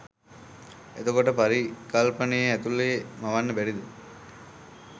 එතකොට පරිකල්පනය ඇතුළෙ මවන්න බැරිද